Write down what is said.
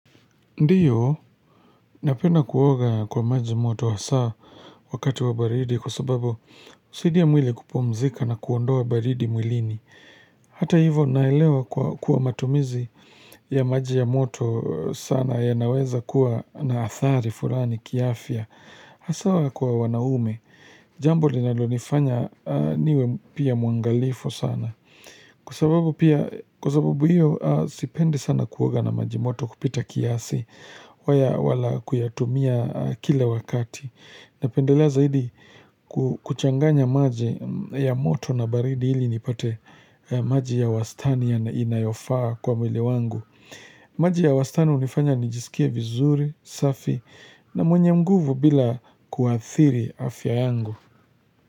Ndiyo, napenda kuoga kwa maji moto hasa wakati wa baridi kwa sababu husaidia mwili kupumzika na kuondoa baridi mwilini. Hata hivo naelewa kwa kuwa matumizi ya maji ya moto sana yanaweza kuwa na athari fulani kiafya. Haswa kwa wanaume, jambo linalonifanya niwe pia mwangalifu sana. Kwa sababu pia, kwa sababu hiyo sipendi sana kuoga na maji moto kupita kiasi. Wala kuyatumia kila wakati napendelea zaidi ku kuchanganya maji ya moto na baridi ili nipate maji ya wastani ya inayofaa kwa mwili wangu maji ya wastani hunifanya nijisikie vizuri, safi na mwenye nguvu bila kuathiri afya yangu.